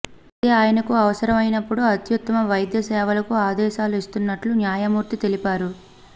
అయితే ఆయనకు అవసరం అయినప్పుడు అత్యుత్తమ వైద్య సేవలకు ఆదేశాలు ఇస్తున్నట్లు న్యాయమూర్తి తెలిపారు